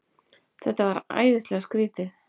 Þetta var æðislega skrýtið.